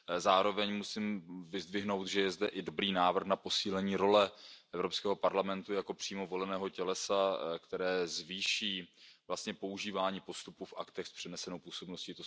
Zároveň musím vyzdvihnout, že je zde i dobrý návrh na posílení role Evropského parlamentu jako přímo voleného tělesa, které zvýší vlastně používání postupu v aktech s přenesenou působností.